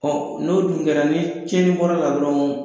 Ɔ n'o dun kɛra ni cɛni bɔra la dɔrɔn.